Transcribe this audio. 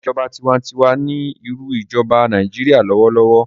ìjọba tiwantiwa ní irú ijoba Nàìjíría lọwọlọwọ.